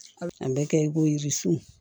An bɛ kɛ i ko jirisun